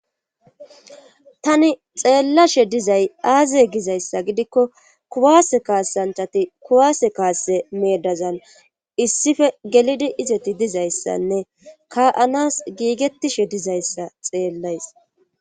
tani xeellashe dizay aaziye gizayssa gidikko kuwaase kaassanchati kuwaase kaasse meedazan issife gelidi izeti dizayssanne ka7anas giigetishe dizayssa xeellays